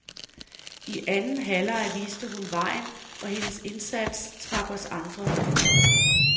I anden halvleg viste hun vejen, og hendes indsats trak os andre med.